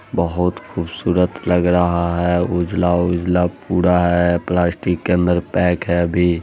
बहुत खूबसूरत लग रहा है उजला-उजला पूरा है प्लास्टिक के अंदर पैक है अभी--